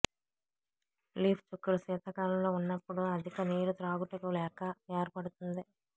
leaf చుక్కలు శీతాకాలంలో ఉన్నప్పుడు అధిక నీరు త్రాగుటకు లేక ఏర్పడుతుంది